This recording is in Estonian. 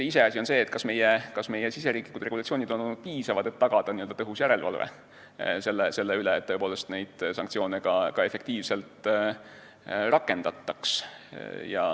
Iseasi on see, kas meie riigisisesed regulatsioonid on olnud piisavad, et tagada tõhus järelevalve selle üle, et sanktsioone ka efektiivselt rakendataks.